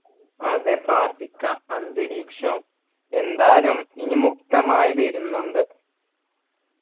അതെ പ്രാർത്ഥിക്ക അന്തരീക്ഷോഎന്തായാലും എനി മുക്തമായി വരുന്നുണ്ട്